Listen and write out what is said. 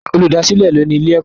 Olùdásìlẹ̀ ni ó ní ilé-ẹ̀kọ́.